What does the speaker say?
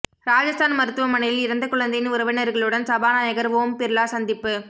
ராஜஸ்தான் மருத்துவமனையில் இறந்த குழந்தையின் உறவினர்களுடன் சபாநாயகர் ஓம் பிர்லா சந்திப்பு